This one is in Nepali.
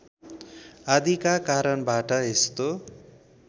आदिका कारणबाट यस्तो